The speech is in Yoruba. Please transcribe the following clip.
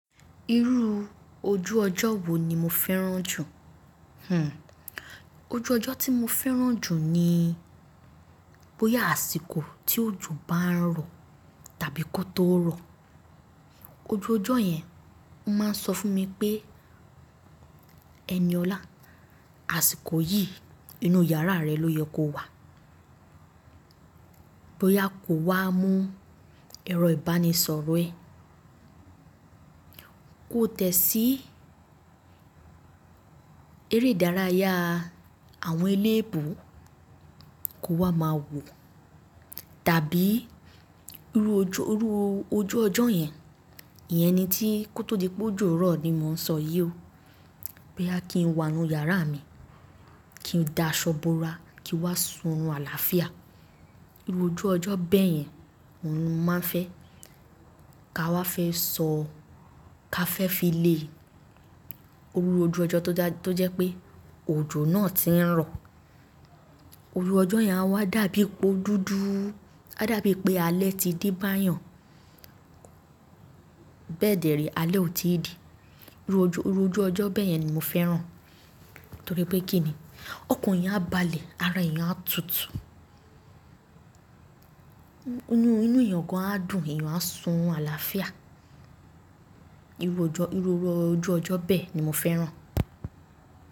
Irú ojú ọjọ́ wo ni mo fẹ́ràn jù? Hmm ojú ọjọ́ tí mo fẹ́ràn jù ni bóyá àsìkò tí òjò bá ń rọ̀ tàbí kó tó rọ̀. Ojú ọjọ́ yẹn máa ń sọ fún mi pé ẹniọ̀lá, àsìkò yìí inú yàrá rẹ ló yẹ kó wà. Bí ó yá kò wá mú ẹrọ ìbánisọ̀rọ̀ ẹ. Kó tẹ̀ sí eré ìdárayá àwọn eléébo. Kó wá máa wò. Tàbí irú ojú, irú ojú ọjọ́ yẹn, ìyẹn ni tí kó tó di pé òjò rọ̀ ni mò ń sọ yí ó. Bí ó yá kí n wà nínú yàrá mi, kí n da aṣọ bora, kí n wá sun ọ̀run àlàáfíà. Irú ojú ọjọ́ bẹ́ẹ̀ yẹn oun ni mo máa ń fẹ́ ká wá fẹ́ sọ ká fẹ́ fi le. Irú ojú ọjọ́ tó jẹ́ pé òjò náà ti ń rọ̀. Irú ọjọ́ yẹn a wá dàbí po dúdú. A dàbí pé alẹ́ ti de bá'yàn. Bẹ́ẹ̀dẹ̀ree alẹ́ ò tí ì de. Irú ojú, irú ojú ọjọ́ bẹ́ẹ̀ yẹn ni mo fẹ́ràn. Nítorí pé kí ni? Ọkan eeyan á balẹ̀, ara èèyàn á tutù. Inú, inú èèyàn gan á dùn, èèyàn á sun àlàáfíà. Irú ojú, irú ojú ọjọ́ bẹ́ẹ̀ ni mo fẹ́ràn.